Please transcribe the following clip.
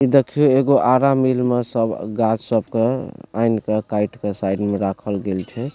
इ देखियों एगो आरा मिल में सब गाछ सब के ऐन के काएट के साइड में राखल गेल छै।